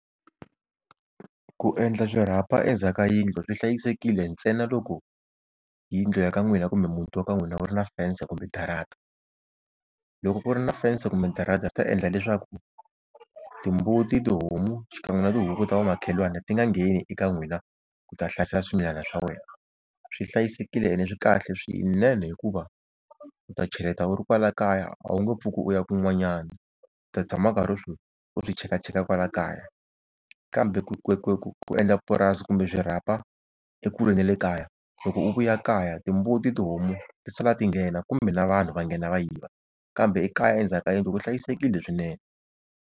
Ku endla swirhapa endzhaku ka yindlu swi hlayisekile ntsena loko yindlu ya ka n'wina kumbe muti wa ka n'wina u ri na fense kumbe darata. Loko ku ri na fense kumbe darata swi ta endla leswaku timbuti tihomu xikan'we na tihuku ta vamakhelwani ti nga ngheni eka n'wina ku ta hlasela swimilana swa wena. Swi hlayisekile ene swi kahle swinene, hikuva u ta cheleta u ri kwala kaya a wu nge pfuki u ya kun'wanyana, u ta tshama u karhi u swi cheka cheka kwala kaya. Kambe ku ku ku ku endla purasi kumbe swirhapa ekule na le kaya loko u vuya kaya timbuti tihomu ti sala tinghena kumbe na vanhu va nghena va yiva, kambe ekaya endzhaku ka yindlu ku hlayisekile swinene.